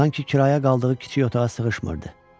Sanki kirayə qaldığı kiçik otağa sığışmırdı.